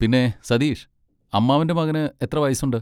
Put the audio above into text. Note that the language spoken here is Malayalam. പിന്നെ, സതീഷ് അമ്മാവൻ്റെ മകന് എത്ര വയസ്സുണ്ട്?